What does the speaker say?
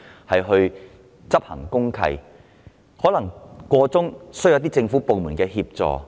在過程中，法團可能需要政府部門協助。